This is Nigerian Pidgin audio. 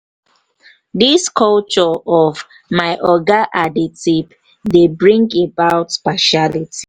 this culture of "my oga at di tip" dey bring about partiality